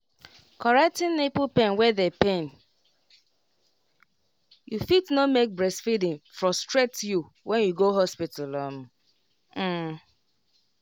correcting nipple wey dey pain you fit no make breastfeeding frustrate you when you go hospital um um